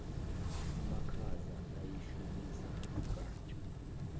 amakhaza ayeshubisa umnkantsha